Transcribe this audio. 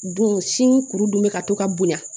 Don sin kuru dun bɛ ka to ka bonya